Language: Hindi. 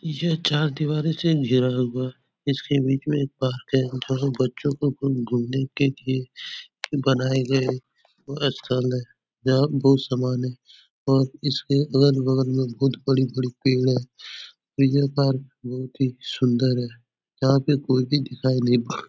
यह चार दिवारी से अँधेरा होगा। इस के बीच में एक पार्क है। जहाँ बच्चो को घुम घुमने के लिए बनाये गए है। । यहाँ बोहोत सामान है। और इसके अगल -बगल में बोहोत बड़ी बड़ी पेड़ है। ये पार्क बहुत ही सुंदर है। जहाँ पे कोई भी दिखाई नहीं पड़ --